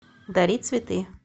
дари цветы